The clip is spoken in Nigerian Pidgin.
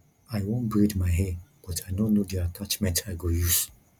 i wan braid my hair but i no know the attachment i go use